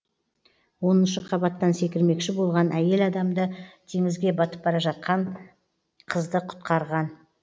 оныншы қабаттан секірмекші болған әйел адамды теңізге батып бара жатқан қызды құтқарған